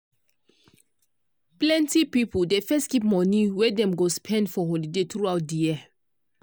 plenti pipo dey first keep money wey dem go spend for holiday throughout di year.